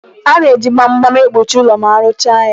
A na-eji gbam gbam ekpuchi ụlọ ma aruchaa ya.